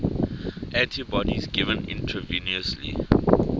antibodies given intravenously